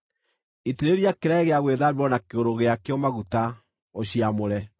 Itĩrĩria kĩraĩ gĩa gwĩthambĩrwo na kĩgũrũ gĩakĩo maguta, ũciamũre.